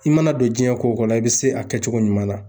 I mana don jiɲɛ ko ko la, i bɛ se a kɛcogo ɲuman na.